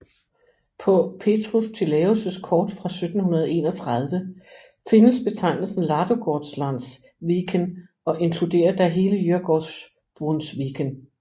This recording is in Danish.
På Petrus Tillaeus kort fra 1731 findes betegnelsen Ladugårdslands Wÿken og inkluderer da hele Djurgårdsbrunnsviken